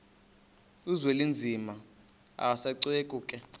uzwelinzima asegcuwa ke